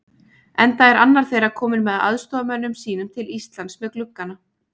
Enda er annar þeirra kominn með aðstoðarmönnum sínum til Íslands með gluggana